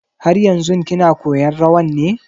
Har yanzun kina koyan rawan ne?